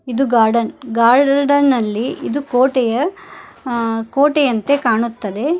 ಇದು ಗಾರ್ಡನ್ ಗಾರ್ ಗಾರ್ಡನ್ ನಲ್ಲಿ ಇದು ಕೋಟೆಯ ಆ ಕೋಟೆಯಂತೆ ಕಾಣುತ್ತದೆ.